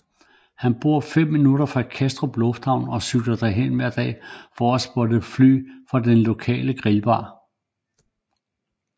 Han bor fem minutter fra Kastrup lufthavn og cykler derhen hver dag for at spotte fly fra den lokale grillbar